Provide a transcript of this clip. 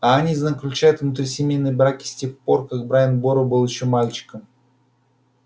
а они заключают внутрисемейные браки с тех пор как брайан бору был ещё мальчиком